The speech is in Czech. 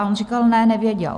A on říkal: Ne, nevěděl.